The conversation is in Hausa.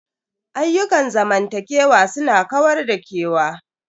Ayyukan zamantakewa su na kawar da kewa.